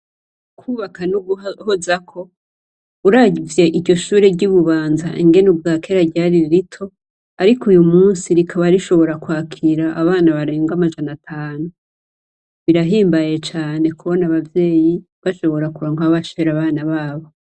Kubaka n'uguhozako. Uravye iryo shure ry'i Bubanza ingene ubwakera ryari rito, ariko uyu munsi rikaba rishobora kwakira abana baarenga amajana atanu. Birahimbaye cane kubona abavyeyi bashobora kuronka aho bashira abana babo.